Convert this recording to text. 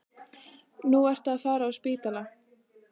Nú ertu að fara á spítala